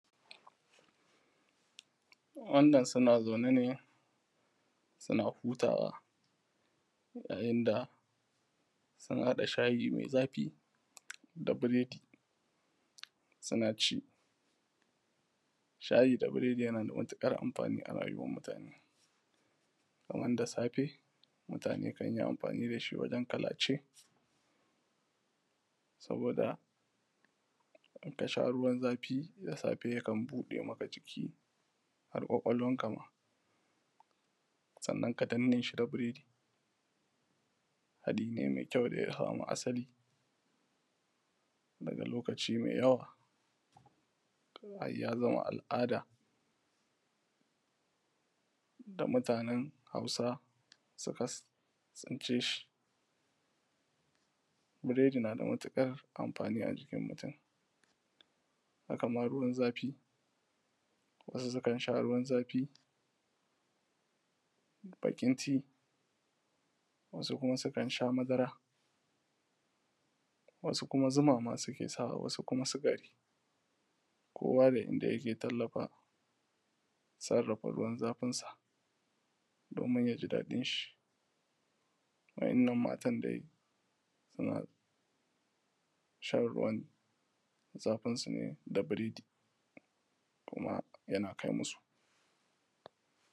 wannan suna zaune ne suna hutawa a inda sun haɗa shayi mai zafi da biredi suna ci shayi da biredi yana da matuƙar amfani a rayuwar mutane kaman da safe mutane kan yi amfani da shi wajen kalace saboda in ka sha ruwan zafi da safe yakan buɗe maka ciki har ƙwaƙwalwar ka ma sannan ka danne shi da biredi haɗi ne mai kyau da ya samo asali daga lokaci mai yawa har ya zama al’ada ga mutanen hausa suka tsince shi biredi nada matuƙar amfani a jikin mutum haka ma ruwan zafi wasu sukan sha ruwan zafi baƙin tea wasu kuma sukan sha madara wasu zuma ma suke sawa wasu kuma sukari kowa da inda yake tallafa sarrafa ruwan zafin sa domin yaji daɗin shi wa’innan matan dai suna shan ruwan zafin su ne da biredi kuma yana kai musu